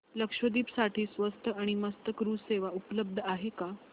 लक्षद्वीप साठी स्वस्त आणि मस्त क्रुझ सेवा उपलब्ध आहे का